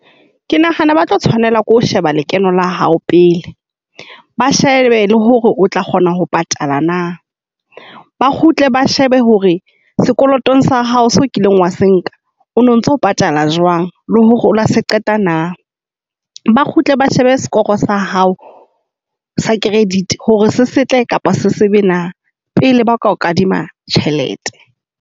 Ke nahana ba tlo tshwanela ke ho sheba lekeno la hao pele ba shebe hore o tla kgona ho patala na, ba kgutle ba shebe hore sekolotong sa hao seo o kileng wa se nka o no ntso patala jwang. Le hore o la se qeta na. Ba kgutle ba shebe sekooe sa hao sa credit hore se setle kapa se sebe na pele ba ka o kadima tjhelete.